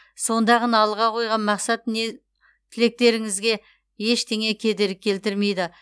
сонда ғана алға қойған мақсат тілектеріңізге ештеңе кедергі келтірмейді